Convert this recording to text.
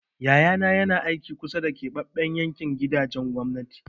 Yayana na aiki a kusa da keɓaɓɓen yankin gidajen gwamnati.